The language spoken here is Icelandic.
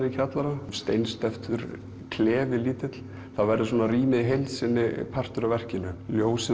í kjallaranum steinsteyptur klefi lítill þá verður rýmið í heild sinni partur af verkinu ljósið